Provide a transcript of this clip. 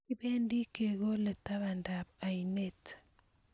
kibendi kekole tabandab oinet